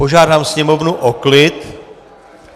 Požádám sněmovnu o klid.